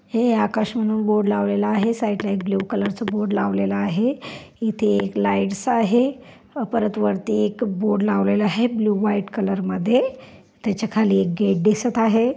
हे आकाश म्हणून बोर्ड लावलेल आहे. साइडला एक ब्ल्यु कलर च बोर्ड लावलेल आहे. इथे एक लाइटस आहे परत वरती एक बोर्ड लावलेल आहे. ब्लु व्हाइट कलर मध्ये त्याच्या खाली एक गेट दिसत आहे.